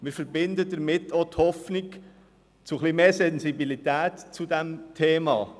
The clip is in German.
Wir verbinden damit auch die Hoffnung zu etwas mehr Sensibilität für dieses Thema.